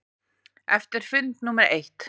Eftir fund númer eitt.